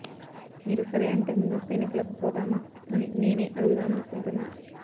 మీరు సరే అంటే ముందస్తు ఎన్నికలకు పోదామా అని నేనే అడుగుదామనుకుంటున్నా